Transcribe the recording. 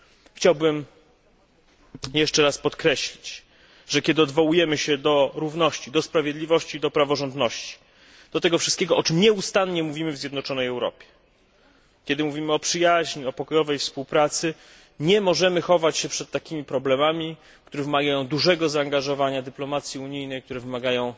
Chciałbym podkreślić, że kiedy odwołujemy się do równości, sprawiedliwości i do praworządności, do tego wszystkiego, o czym nieustannie mówimy w zjednoczonej Europie, kiedy mówimy o przyjaźni, o pokojowej współpracy, nie możemy chować się przed takimi problemami, które wymagają dużego zaangażowania dyplomacji unijnej, które wymagają